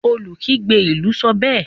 olukigbe ilú sọ bẹẹ